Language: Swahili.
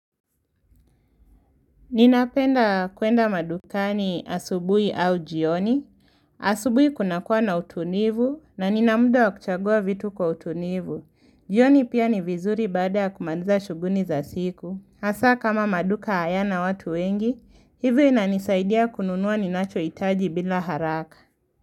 Ninapenda kuenda madukani asubuhi au jioni. Asubuhi kunakua na utulivu na nina muda wa kuchagua vitu kwa utulivu. Jioni pia ni vizuri baada ya kumaliza shughuli za siku. Hasa kama maduka hayana watu wengi, hivyo inanisaidia kununua ninachohitaji bila haraka.